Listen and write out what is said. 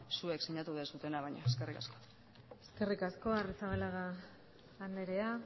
zuek sinatu duzuena baino eskerrik asko eskerrik asko arrizabalaga andrea